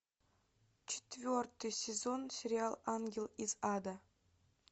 четвертый сезон сериал ангел из ада